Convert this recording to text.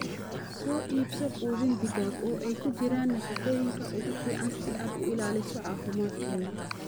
Soo iibso quudin digaag oo ay ku jiraan nafaqooyinka ugu fiican si aad u ilaaliso caafimaadkooda.